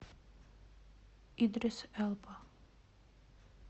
идрис элба